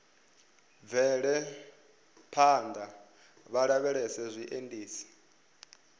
bvele phanḓa vha lavhelese zwiendisi